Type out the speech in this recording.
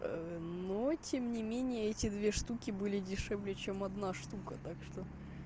но тем не менее эти две штуки были дешевле чем одна штука так что